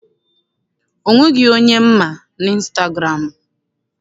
O nweghị onye m ma n'ịnstagụramụ.